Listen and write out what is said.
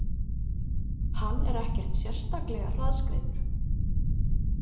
Hann er ekkert sérstaklega hraðskreiður.